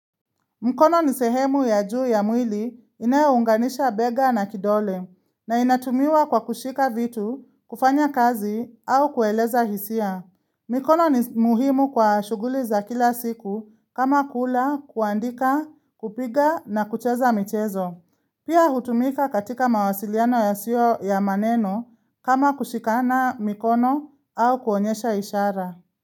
Mkono ni sehemu ya juu ya mwili inayounganisha bega na kidole na inatumiwa kwa kushika vitu, kufanya kazi au kueleza hisia. Mikono ni muhimu kwa shughuli za kila siku kama kula, kuandika, kupiga na kucheza mchezo. Pia hutumika katika mawasiliano ya sio ya maneno kama kushikana mkono au kuonyesha ishara.